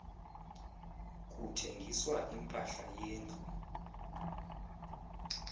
kuthengiswa impahla yendlu